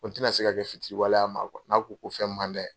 n tɛ ka se ka kɛ fitiriwale y'a ma , n'a ko ko fɛn mun mand'a ye